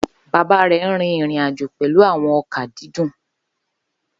Baba rẹ n rin irin-ajo pẹlu awọn oka didan